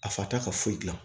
A fata ka foyi gilan